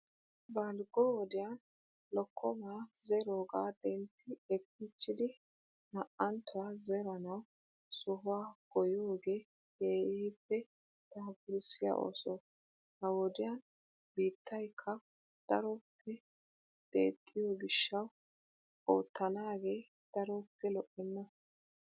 Balggo wodiyan lokkomaa zeroogaa dentti ekkichchidi na''anttuwaa zeranawu sohuwaa goyyiyoogee keehippe daapurssiyaa ooso. He wodiyaan biittaykka daroppe deexxiyo gishshawu oottanaage daroppe lo'enna.